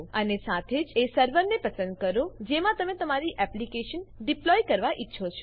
અને સાથે જ એ સર્વરને પસંદ કરો જેમાં તમે તમારી એપ્લીકેશન ડીપ્લોય કરવા ઈચ્છો છો